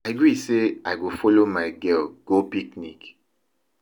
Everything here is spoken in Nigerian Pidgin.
I gree say I go follow my girl go picnic